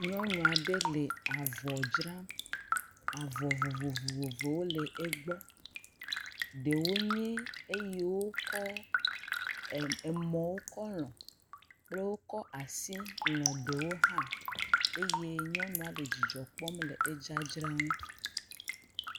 Nyɔnu aɖe le avɔ dzram. Avɔ vovovowo le egbɔ. Ɖewo nye eyi wokɔ mɔ kɔ lɔ̃ kple wokɔ asi lɔ̃ ɖewo hã eye nyɔnua le dzidzɔ kpɔm le edzradzra ŋu.